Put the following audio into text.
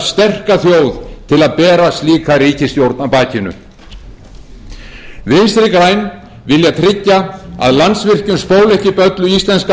sterka þjóð til að bera slíka ríkisstjórn á bakinu vinstri græn vilja tryggja að landsvirkjun spóli ekki upp öllu íslenska